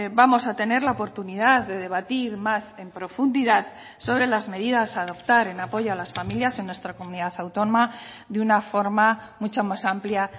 vamos a tener la oportunidad de debatir más en profundidad sobre las medidas a adoptar en apoyo a las familias en nuestra comunidad autónoma de una forma mucho más amplia